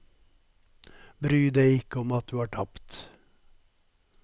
Bry deg ikke om at du har tapt.